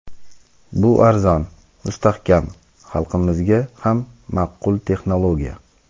Bu arzon, mustahkam, xalqimizga ham ma’qul texnologiya.